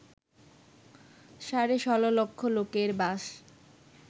সাড়ে ১৬ লক্ষ লোকের বাস